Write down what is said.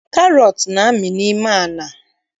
Karọt na-amị n'ime ala